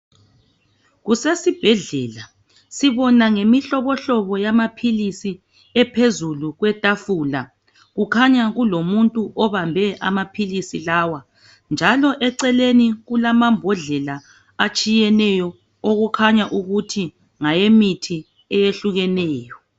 Kusesibhedlela sibona ngemihlohlobo yamaphilisi ephezulu kwetafula kukhanya kulomuntu obambe amaphilisi lawa njalo eceleni kulamabhodlela emithi okukhanya ukuthi ngamaphilisi ayehlukeneyo